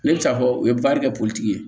Ne bɛ taa fɔ u ye kɛ politigi ye